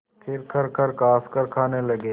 फिर खरखर खाँसकर खाने लगे